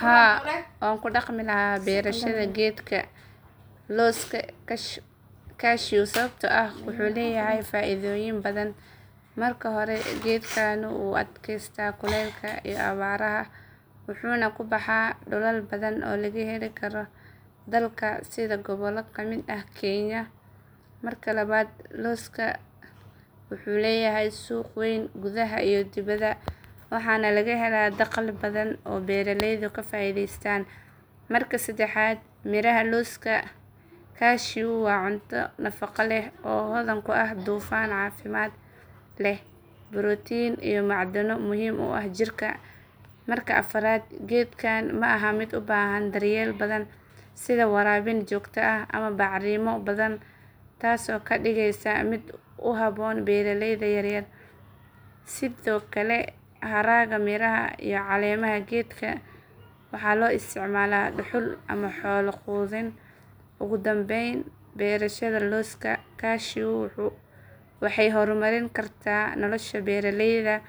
Haa waan ku dhaqmi lahaa beerashada geedka looska cashew sababtoo ah wuxuu leeyahay faaidooyin badan. Marka hore, geedkani wuu u adkaysaa kulaylka iyo abaaraha wuxuuna ku baxaa dhulal badan oo laga heli karo dalka sida gobollo ka mid ah kenya. Marka labaad, looska cashew wuxuu leeyahay suuq weyn gudaha iyo dibadda waxaana laga helaa dakhli badan oo beeraleydu ka faa’iidaystaan. Marka saddexaad, miraha looska cashew waa cunto nafaqo leh oo hodan ku ah dufan caafimaad leh, borotiin iyo macdano muhiim u ah jirka. Marka afraad, geedkan ma aha mid u baahan daryeel badan sida waraabin joogto ah ama bacrimo badan taasoo ka dhigaysa mid ku habboon beeraleyda yaryar. Sidoo kale, haragga miraha iyo caleemaha geedka waxaa loo isticmaalaa dhuxul ama xoolo quudin. Ugu dambayn, beerashada looska cashew waxay horumarin kartaa nolosha beeraleyda